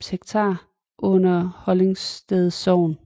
I kirkelig henseende hører Ellingsted under Hollingsted Sogn